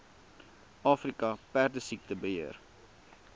afrika perdesiekte beheer